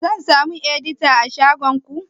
Zan samu edita a shagon ku?